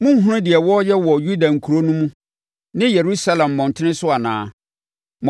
Monhunu deɛ wɔreyɛ wɔ Yuda nkuro no mu ne Yerusalem mmɔntene so anaa?